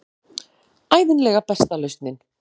Ævinlega besta lausnin.